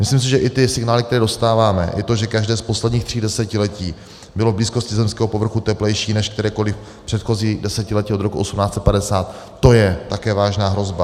Myslím si, že i ty signály, které dostáváme, i to, že každé z posledních tří desetiletí bylo v blízkosti zemského povrchu teplejší než kterékoli předchozí desetiletí od roku 1850, to je také vážná hrozba.